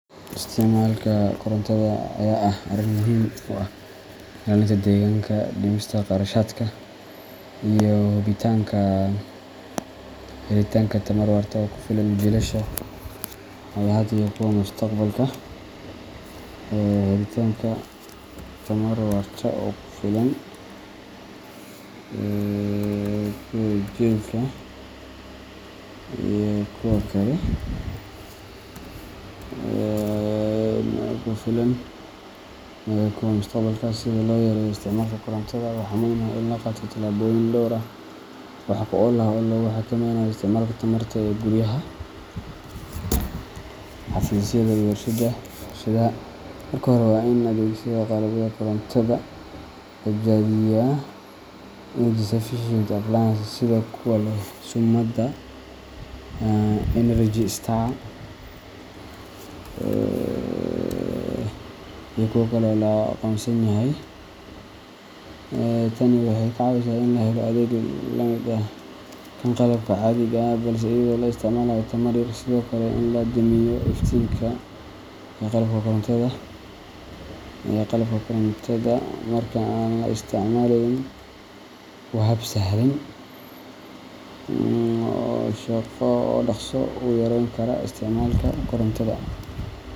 Isticmaalka korontada ayaa ah arrin muhiim u ah ilaalinta deegaanka, dhimista kharashaadka, iyo hubinta helitaanka tamar waarta oo ku filan jiilasha hadda iyo kuwa mustaqbalka. Si loo yareeyo isticmaalka korontada, waxaa muhiim ah in la qaato tallaabooyin dhowr ah oo wax ku ool ah oo lagu xakameynayo isticmaalka tamarta ee guryaha, xafiisyada, iyo warshadaha. Marka hore, waa in la adeegsadaa qalabka korontada ee tamarta badbaadiya energy-efficient appliances, sida kuwa leh summada Energy Star ama kuwa kale ee la aqoonsan yahay. Tani waxay ka caawisaa in la helo adeeg la mid ah kan qalabka caadiga ah, balse iyadoo la isticmaalayo tamar yar. Sidoo kale, in la damiyo iftiinka iyo qalabka korontada marka aan la isticmaaleyn waa hab sahlan oo dhaqso u yareyn kara isticmaalka korontada.